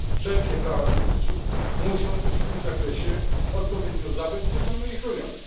Wszelkie prawa twórców muszą być w tym zakresie odpowiednio zabezpieczone i chronione.